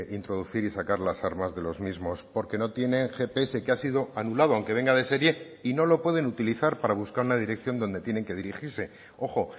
introducir y sacar las armas de los mismos porque no tienen gps que ha sido anulado aunque venga de serie y no lo pueden utilizar para buscar una dirección donde tienen que dirigirse ojo